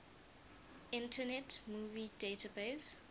internet movie database